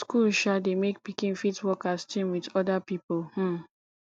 school um dey make pikin fit work as team with oda pipo um